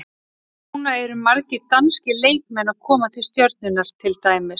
Núna eru margir danskir leikmenn að koma til Stjörnunnar til dæmis.